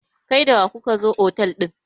kai da wa kuka zo otal din?